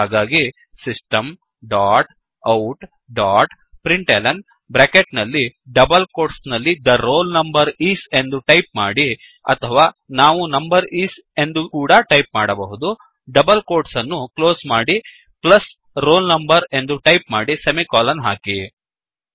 ಹಾಗಾಗಿ Systemಡಾಟ್outಡಾಟ್ println bracket ನಲ್ಲಿ ಡಬಲ್ ಕೋಟ್ಸ್ ನಲ್ಲಿThe ರೋಲ್ ನಂಬರ್ ಇಸ್ ಎಂದು ಟೈಪ್ ಮಾಡಿ ಅಥವಾ ನಾವು ನಂಬರ್ ಇಸ್ ಎಂದು ಕೂಡಾ ಟೈಪ್ ಮಾಡಬಹುದು ಡಬಲ್ ಕೋಟ್ಸ್ ಅನ್ನು ಕ್ಲೋಸ್ ಮಾಡಿ ಪ್ಲಸ್ roll number ಎಂದು ಟೈಪ್ ಮಾಡಿ ಸೆಮಿಕೋಲನ್ ಹಾಕಿ